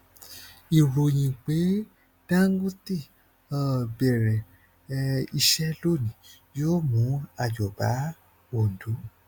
ìròyìn pé dangote um bẹrẹ um iṣẹ lónìí yóò mú ayọ bá òǹdó